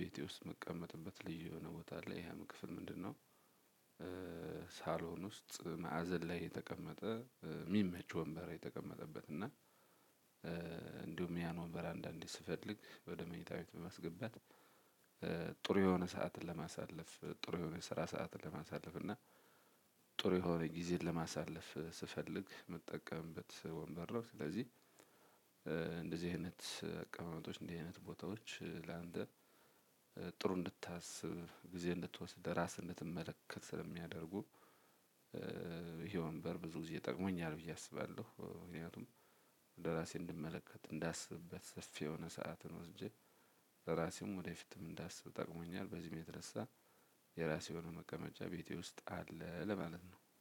ቤቴ ውስጥ የምቀመጥበት ልዩ የሆነ ቦታ አለ። ያም ክፍል ምንድነው- ሳሎን ውስጥ መአዘን ላይ የተቀመጠ የሚመች ወንበር የተቀመጠበት እና እንዲሁም ያን ወንበር አንዳንዴ ስፈልግ ወደ መኝታ በመስገባት- ጥሩ የሆነ ሰዓትን ለማሳለፍ ጥሩ የሆነ ስራ ሰዓትን ለማሳለፍ እና- ጥሩ የሆነ ጊዜን ለማሳለፍ ስፈልግ የምጠቀምበት ወንበር ነው። ስለዚህ- አይነት አቀማመጦች እንደዚህ አይነት ቦታዎች ለአንተ ጥሩ እንድታስብ ጊዜ እንድትወስድ ራስህን እንድትመለከት ስለሚያደርጉ- ይሄ ወንበር ብዙ ጊዜ ጠቅሞኛል ብዬ አስባለሁ። ምክንያቱም እንደራሴ እንድመለከት እንዳስብበት ሰፊ የሆነ ሰዓትን ወስጄ ለራሴም ወደፊትም እንዳስብ ጠቅሞኛል። በዚህም የተነሳ- የራሴ የሆነ መቀመጫ ቤቴ ውስጥ አለ ለማለት ነው።